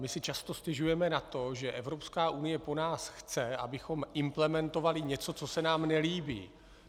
My si často stěžujeme na to, že Evropská unie po nás chce, abychom implementovali něco, co se nám nelíbí.